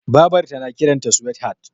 Babar ta na kiran da suwethat